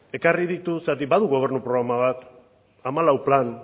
ekarri ditu zeren badu gobernu programa bat hamalau plan